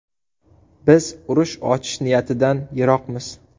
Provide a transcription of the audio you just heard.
Biz urush ochish niyatidan yiroqmiz.